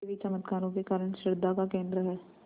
देवी चमत्कारों के कारण श्रद्धा का केन्द्र है